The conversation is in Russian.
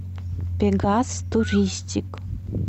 пегас туристик